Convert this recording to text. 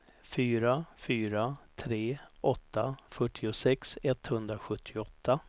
fyra fyra tre åtta fyrtiosex etthundrasjuttioåtta